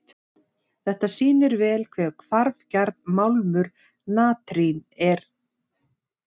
Þetta sýnir vel hve hvarfgjarn málmur natrín er.